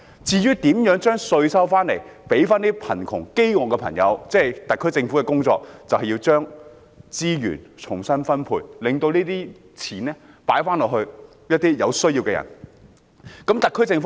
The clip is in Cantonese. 至於徵稅及將稅款用在貧窮或捱餓市民身上，是特區政府的工作，那就是將資源重新分配，把金錢能花在有需要的人身上。